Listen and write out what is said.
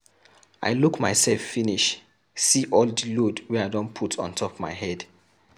I look mysef finish see all di load wey I put ontop my head.